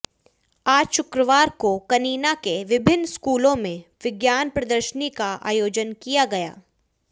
आज शुक्रवार को कनीना के विभिन्न स्कूलों में विज्ञान प्रदर्शनी का आयोजन किया गया